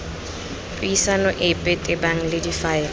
puisano epe tebang le difaele